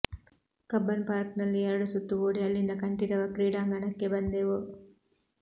Cubbon ಪಾರ್ಕ್ನಲ್ಲಿ ಎರಡು ಸುತ್ತು ಓಡಿ ಅಲ್ಲಿಂದ ಕಂಠೀರವ ಕ್ರೀಡಾಂಗಣಕ್ಕೆ ಬಂದೆವು